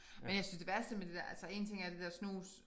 Men jeg synes det værste med det der altså én ting er det der snus